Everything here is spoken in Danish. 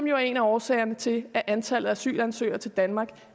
jo er en af årsagerne til at antallet af asylansøgere til danmark